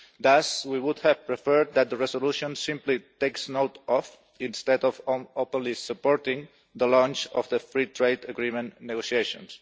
Thus, we would have preferred that the resolution simply took note of, instead of openly supporting, the launch of the Free Trade Agreement negotiations.